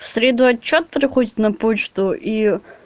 в среду отчёт приходит на почту и